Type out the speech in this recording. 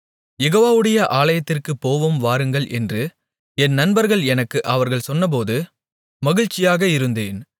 யெகோவாவுடைய ஆலயத்திற்குப் போவோம் வாருங்கள் என்று என் நண்பர்கள் எனக்கு அவர்கள் சொன்னபோது மகிழ்ச்சியாக இருந்தேன்